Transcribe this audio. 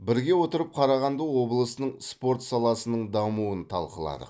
бірге отырып қарағанды облысының спорт саласының дамуын талқыладық